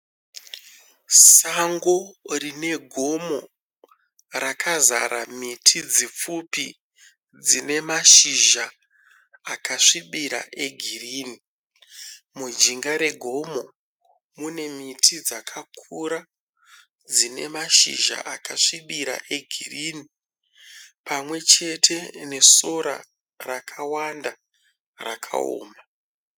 Sango rinegomo rakazara miti dzipfupi dzine mashizha akasvibira egirini, mujinga regomo mune miti dzakakura dzinemashizha akasvibira egirini pamwechete nesora rakawanda rakaoma.